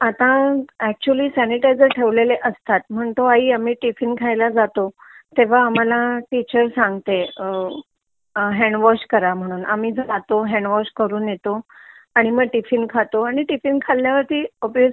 आता actually sanitiser ठेवलेले असतात म्हणतो आई आम्ही टिफिन खायला जातो तेव्हा आम्हाला टीचर सांगते अ हँडवॉश करा म्हणून आम्ही जातो मग हँडवॉश करून येतो आणि मग टिफिन खातो आणि मग टिफिन खाल्ल्यावर्ति ऑब्वियसली